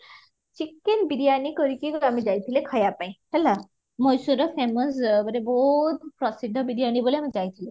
chicken biriyani କରିକି ଆମେ ଯାଇଥିଲେ ଖାଇବା ପାଇଁ ହେଲା ମହେଶ୍ଵରର famous ମାନେ ବହୁତ ପ୍ରସିଦ୍ଧ biriyani ବୋଲି ଆମେ ଯାଇଥିଲୁ